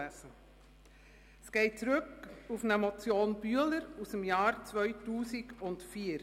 Dieses Gesetz geht auf eine Motion Bühler aus dem Jahr 2004 zurück.